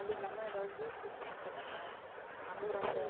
அது இல்லாம எதாது juice குடிச்சுக்க சொல்லுங்க அவளும் செய்யுறா